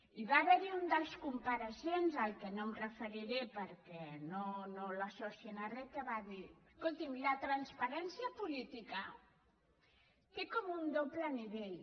hi va haver un dels compareixents que no m’hi referiré perquè no l’associïn a re que va dir escoltin la transparència política té com un doble nivell